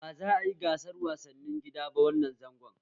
Ba za a yi gasar wasannin gida ba wannan zangon